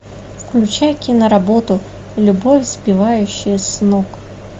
включай кино работу любовь сбивающая с ног